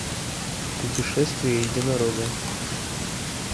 путешествие единорога